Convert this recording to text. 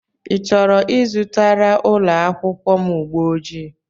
I chọrọ ịzụtara ụlọakwụkwọ m ụgbọjii?